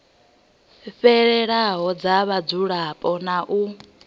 fhelelaho dza mudzulapo na u